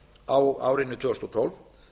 á árinu tvö þúsund og tólf